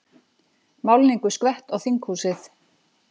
Málningu skvett á þinghúsið